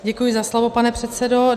Děkuji za slovo, pane předsedo.